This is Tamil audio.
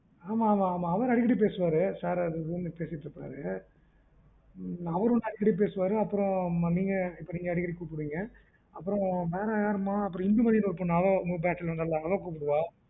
ஆமா அவரு அடிக்கடி பேசுவாறு sir அது இதுன்னு அப்புறம் நீங்க பேசுவீங்க அப்புறம் யாருமா இந்துமதி னு ஒரு பொண்ணு அவ கூப்புடுவா